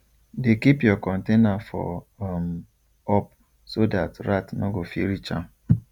dey keep your container for um up so dat rat nor go fit reach am